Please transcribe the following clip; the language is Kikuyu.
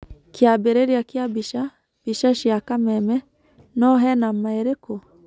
Kĩambĩrĩria kĩa mbica, Mbica cia Kameme, no hena maa ĩrĩkũ?